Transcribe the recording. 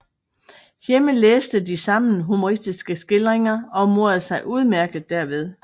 Hjemme læste de sammen humoristiske skildringer og morede sig udmærket derved